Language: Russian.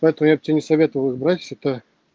поэтому я б тебе не советовал их брать это